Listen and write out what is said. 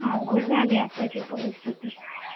अवघड झालीये आत्ताची परिस्थिति